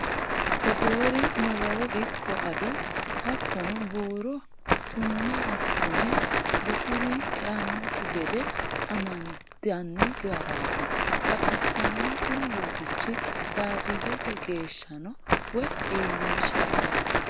Togore malawo ikko ado hattono buuro tune assine bushuri eanokki gede amandani garati baxisano kuni rosichi baadiyyete geeahshano woyi iillinshalla.